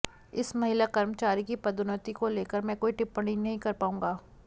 इस महिला कर्मचारी की पदोन्नति को लेकर मैं कोई टिप्पणी नहीं कर पाऊंगा